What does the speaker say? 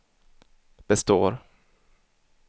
består